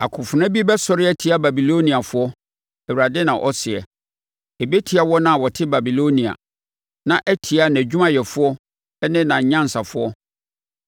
“Akofena bi bɛsɔre atia Babiloniafoɔ!” Awurade na ɔseɛ. “Ɛbɛtia wɔn a wɔte Babilonia na atia nʼadwumayɛfoɔ ne nʼanyansafoɔ!